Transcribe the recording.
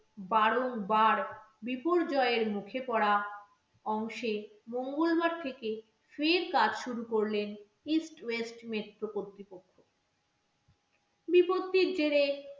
বারংবার বিপর্যয়ের মুখে পড়া অংশে মঙ্গলবার থেকে ফের কাজ শুরু করলেন eastwest metro কর্তৃপক্ষ বিপত্তির জেড়ে